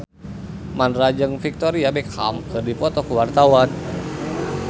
Mandra jeung Victoria Beckham keur dipoto ku wartawan